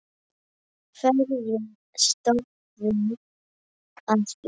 Hverjir stóðu að því?